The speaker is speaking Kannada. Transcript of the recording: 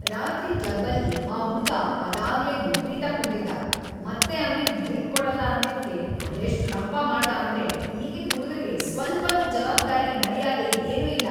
ರಾತ್ರಿ ಕ್ಲಬ್ಬಲ್ಲಿ ಆ ಹುಡ್ಗ ಅದಾಗ್ಲೇ ವಿಪ್ರೀತ ಕುಡ್ದಿದ್ದ, ಮತ್ತೆ ಅವ್ನಿಗ್ ಡ್ರಿಂಕ್‌ ಕೊಡಲ್ಲ ಅಂದಿದ್ಕೆ ಅದೆಷ್ಟ್‌ ರಂಪ ಮಾಡ್ದ ಅಂದ್ರೆ ಈಗಿನ್‌ ಹುಡ್ಗರ್ಗೆ ಸ್ವಲ್ಪನೂ ಜವಾಬ್ದಾರಿ, ಮರ್ಯಾದೆ ಏನೂ ಇಲ್ಲ.